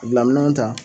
Bila minɛnw ta